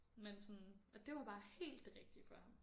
Men sådan og det var bare helt det rigtige for ham